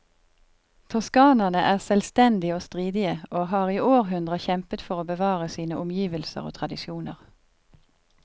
Toskanerne er selvstendige og stridige, og har i århundrer kjempet for å bevare sine omgivelser og tradisjoner.